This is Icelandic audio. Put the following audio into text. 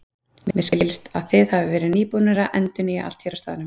Mér skilst að þið hafið verið nýbúnir að endurnýja hér allt á staðnum?